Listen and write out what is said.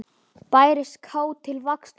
Bærist kát til vaxtar snúin.